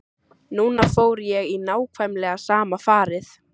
Núna fór ég í nákvæmlega sama farið.